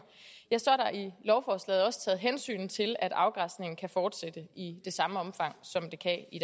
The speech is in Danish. et i lovforslaget også taget hensyn til at afgræsningen kan fortsætte i det samme omfang som det kan i